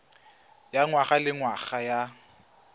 ya ngwaga le ngwaga ya